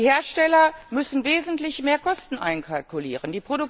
Die Hersteller müssen wesentlich mehr Kosten einkalkulieren.